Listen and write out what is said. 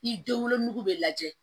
Ni den wolonugu bɛ lajɛ